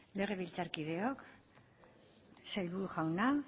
legebiltzarkideok sailburu jauna